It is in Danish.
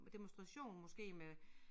Demonstration måske med